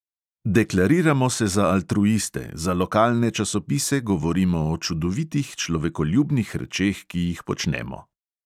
Deklariramo se za altruiste, za lokalne časopise govorimo o čudovitih človekoljubnih rečeh, ki jih počnemo.